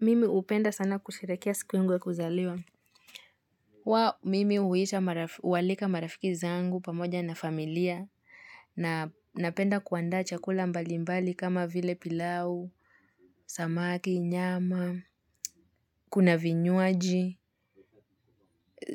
Mimi hupenda sana kusherehekea siku yungu ya kuzaliwa. Wa, mimi huita hualika marafiki zangu pamoja na familia. Na napenda kuandaa chakula mbalimbali kama vile pilau, samaki, nyama, kuna vinywaji.